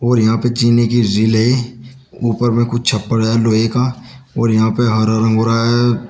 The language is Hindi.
और यहां पे चीनी की झील है ऊपर में कुछ छप्पड़ है लोहे का और यहां पे हरा रंग हो रहा है।